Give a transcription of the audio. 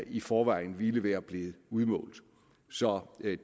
i forvejen ville være blevet udmålt så det er